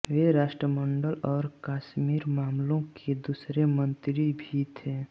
वे राष्ट्रमंडल और कश्मीर मामलों के दूसरे मंत्री भी थे